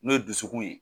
N'o dusukun ye